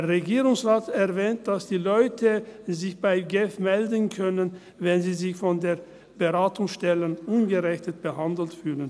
Der Regierungsrat erwähnt, dass die Leute sich bei der GEF melden können, wenn sie sich von den Beratungsstellen ungerecht behandelt fühlen.